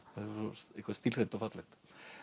stílhreint og fallegt